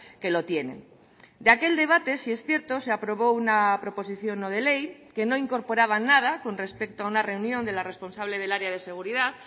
que lo tienen de aquel debate sí es cierto se aprobó una proposición no de ley que no incorporaba nada con respecto a una reunión de la responsable del área de seguridad